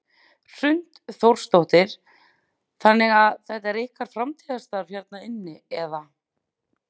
Hrund Þórsdóttir: Þannig að þetta er ykkar framtíðarstarf hérna inni eða?